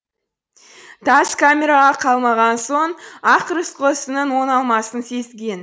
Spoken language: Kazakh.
тас камераға қамалған соң ақ рысқұл ісінің оңалмасын сезген